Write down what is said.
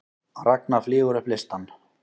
Ragna flýgur upp listann